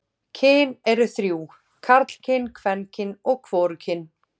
Kyn eru þrjú: karlkyn, kvenkyn og hvorugkyn.